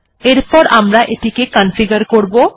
এরপর আমরা এটিকে কনফিগার করব